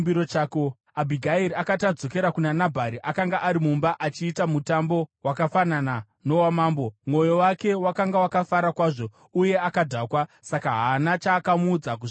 Abhigairi akati adzokera kuna Nabhari, akanga ari mumba achiita mutambo wakafanana nowamambo. Mwoyo wake wakanga wakafara kwazvo uye akadhakwa. Saka haana chaakamuudza kusvikira mangwana.